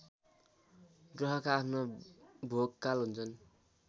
ग्रहका आफ्ना भोगकाल हुन्छन्